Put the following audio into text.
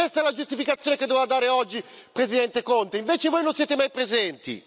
Questa la giustificazione che doveva dare oggi, Presidente Conte, invece voi non siete mai presenti!